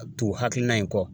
Tugu hakilina in kɔ